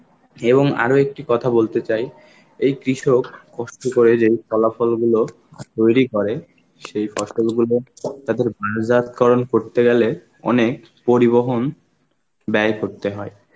এবং আরো একটি কথা বলতে চাই, এই কৃষক কষ্ট করে যেই ফলাফল গুলো তৈরি করে সেই ফসলগুলো তাদের বারাসাত করন করতে গেলে অনেক পরিবহন ব্যয় করতে হয়.